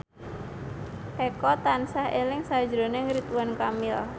Eko tansah eling sakjroning Ridwan Kamil